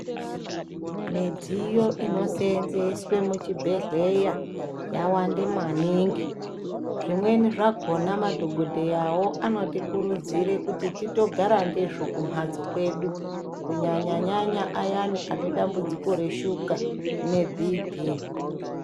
Midziyo anoseenzeswe muchibhedhleya yawande maningi. Zvimweni zvakona madhogodheyawo anotikurudzire kuti titogara ndizvo kumhatso kwedu kunyanya-nyanya ayani anedambudziko reshuka nebhiipii.